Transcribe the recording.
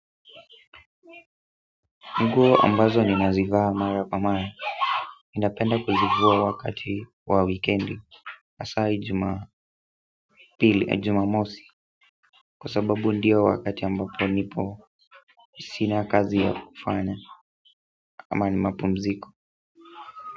Nguo ambazo ninazivaa mara kwa mara ninapenda kuzivua wakati wa wikendi hasa jumapili jumamosi kwa sababu ndio wakati ambapo nipo sina kazi ya kufanya ama ni mapumziko.